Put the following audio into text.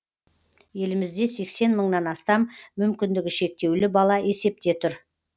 елімізде сексен мыңнан астам мүмкіндігі шектеулі бала есепте тұр